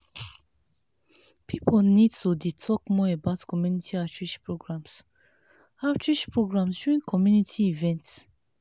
people need to dey talk more about community outreach programs outreach programs during community events.